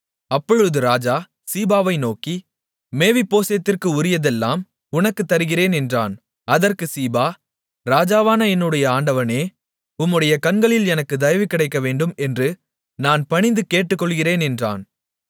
அப்பொழுது ராஜா சீபாவை நோக்கி மேவிபோசேத்திற்கு உரியதையெல்லாம் உனக்கு தருகிறேன் என்றான் அதற்குச் சீபா ராஜாவான என்னுடைய ஆண்டவனே உம்முடைய கண்களில் எனக்குத் தயவு கிடைக்கவேண்டும் என்று நான் பணிந்து கேட்டுக்கொள்ளுகிறேன் என்றான்